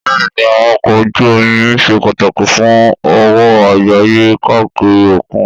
Bẹ́ẹ̀ni, àwọn ọkọ̀ ojú omi ṣe pàtàkì fún òwò àgbáyé káàkiri òkun.